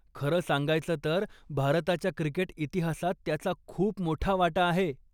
खरं सांगायचं तर भारताच्या क्रिकेट इतिहासात त्याचा खूप मोठा वाटा आहे.